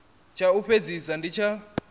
tsha u fhedzisela ndi tsha